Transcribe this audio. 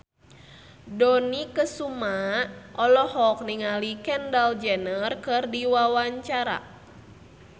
Dony Kesuma olohok ningali Kendall Jenner keur diwawancara